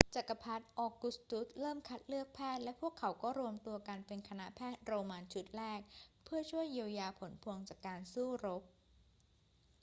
จักรพรรดิออกุสตุสเริ่มคัดเลือกแพทย์ และพวกเขาก็รวมตัวกันเป็นคณะแพทย์โรมันชุดแรกเพื่อช่วยเยียวยาผลพวงจากการสู้รบ